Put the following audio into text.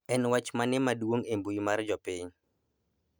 en wach mane maduong' e mbui mar jopiny